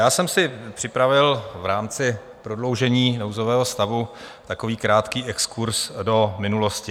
Já jsem si připravil v rámci prodloužení nouzového stavu takový krátký exkurz do minulosti.